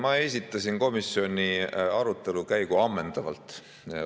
Ma esitasin komisjoni arutelu käigu ammendavalt.